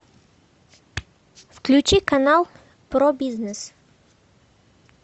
включи канал про бизнес